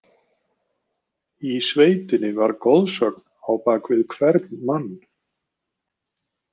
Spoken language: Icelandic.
Í sveitinni var goðsögn á bak við hvern mann.